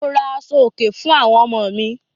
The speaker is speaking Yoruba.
Mo ra àṣọ̀-òkè fún àwọn ọmọ mi.